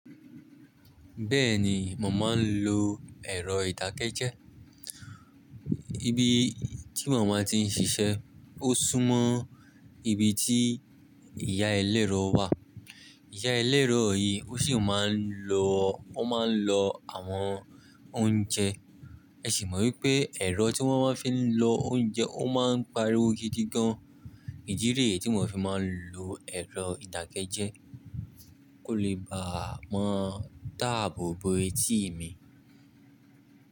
Bẹ́ẹ̀ni, mo máa n lo èrọ ìdakẹ́ jẹ́. Ibi tí mo maá ti ń ṣiṣẹ́, ó súnmọ́ ibi tí ìyá eléèro wà. Ìyá eléèro yìí ó sì máa ń lọ, ó máa ń lọ àwọn oúnjẹ. Ẹ sì mọ̀ wípé ẹ̀rọ tí wón máa ń fi lọ oúnjẹ ó máa ń pariwo gidi gan. Idi niyiì tí mò fi máa ń lo ẹ̀rọ ìdàkẹ́ jẹ́. Kò lè bá à mọ́ dáàbò bo etí mi.